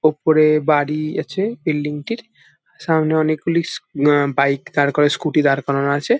উপরে বাড়ি আছে বিল্ডিং-টির । সামনে অনেকগুলি উ উ বাইক দাঁড় করা স্ক্যুটি দাঁড় করানো আছে।